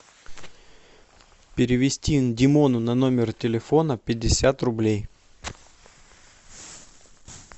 перевести димону на номер телефона пятьдесят рублей